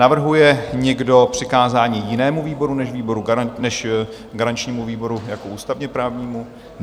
Navrhuje někdo přikázání jinému výboru než garančnímu výboru jako ústavně-právnímu?